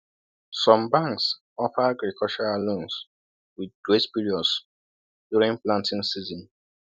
Some banks offer agricultural loans with grace periods during planting season.